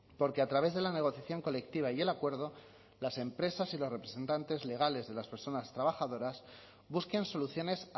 porque a través de la negociación colectiva y el acuerdo las empresas y los representantes legales de las personas trabajadoras busquen soluciones